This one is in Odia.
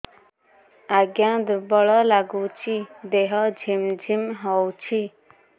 ଆଜ୍ଞା ଦୁର୍ବଳ ଲାଗୁଚି ଦେହ ଝିମଝିମ ହଉଛି